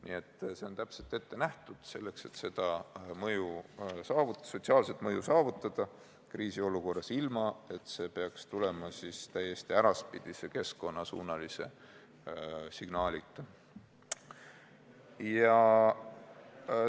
" Nii et see on täpselt ette nähtud selleks, et saavutada seda mõju, sotsiaalset mõju kriisiolukorras, ilma et see peaks tulema täiesti äraspidise keskkonnasuunalise signaalita.